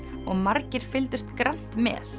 og margir fylgdust grannt með